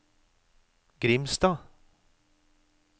Grimstad